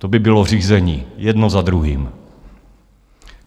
To by bylo řízení jedno za druhým.